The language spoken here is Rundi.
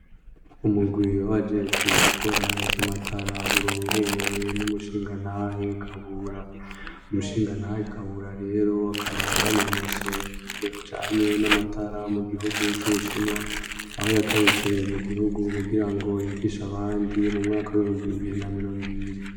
Umurwi wabajejwe gukora ivy'amatara urongowe n'umushingantahe Kabura. Umushingantahe Kabura rero akabaya yanonosoye ivyo bijanye n'amatara mu gihugu c'Ubushinwa aho yagarutse mu gihugu kugira ngo yigishe abandi mu mwaka w'ihumbi bibiri na mirongo ibiri.